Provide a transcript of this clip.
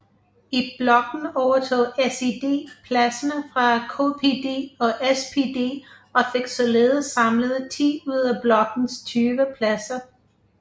I blokken overtog SED pladserne fra KPD og SPD og fik således samlet 10 ud af blokkens 20 pladser